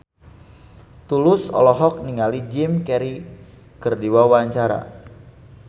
Tulus olohok ningali Jim Carey keur diwawancara